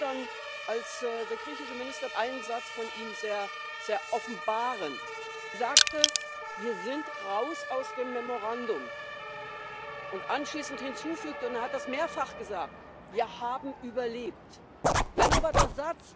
zu überwinden. Da müssen wir gemeinsam antreten. Das muss unsere Mission werden. Und da unterscheiden wir uns und das sage ich ganz klar auch massiv als Linke von allen rechten Versuchen, Europa zu zerstören. Das möchte ich hier noch einmal deutlich betonen.